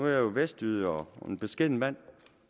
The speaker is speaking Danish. jeg jo vestjyde og en beskeden mand